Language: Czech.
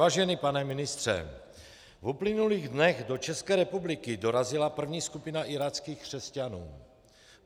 Vážený pane ministře, v uplynulých dnech do České republiky dorazila první skupina iráckých křesťanů.